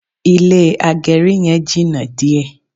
Ilé agẹrí yẹn jìnà díẹ̀